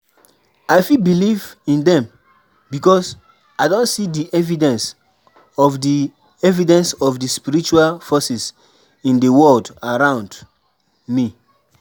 I fit believe in dem because i don see di evidence of di evidence of di spiritual forces in di world around me.